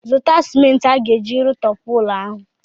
Zụta sịmenti a ga-eji rụtọpụ ụlọ ahụ!